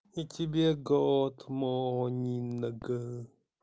и тебе год монинг